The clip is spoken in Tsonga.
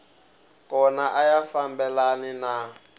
kona a ya fambelani na